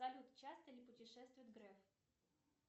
салют часто ли путешествует греф